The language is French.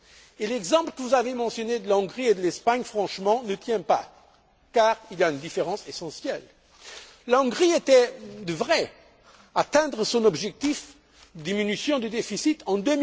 Et l'exemple que vous avez mentionné de la Hongrie et de l'Espagne, franchement, ne tient pas, car il y a une différence essentielle la Hongrie devrait atteindre son objectif de diminution du déficit en